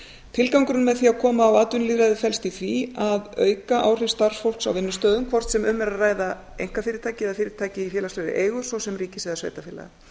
tilgangurinn með því að koma á atvinnulýðræði felst í því að auka áhrif starfsfólks á vinnustöðum hvort sem um er að ræða einkafyrirtæki eða fyrirtæki í félagslegri eigu svo sem ríkis eða sveitarfélaga